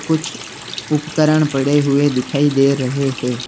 कुछ उपकरण पड़े हुऐ दिखाई दे रहे हैं।